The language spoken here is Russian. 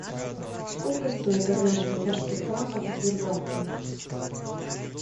сколько стоит одна швейцарских франков в сбербанке